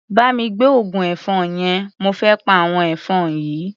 Bá mi gbé oògùn ẹ̀fọn yẹn, mo fé pa àwọn ẹ̀fọn yìí.